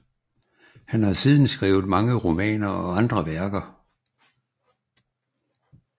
Han har siden skrevet mange romaner og andre værker